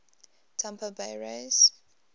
tampa bay rays